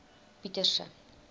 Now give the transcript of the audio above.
pieterse